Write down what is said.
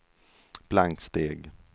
blanksteg